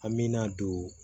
An me na don